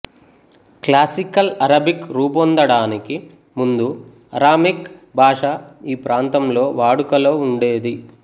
classical Arabic రూపొందడానికి ముందు Aramaic భాష ఈ ప్రాంతంలో వాడుకలో ఉండేది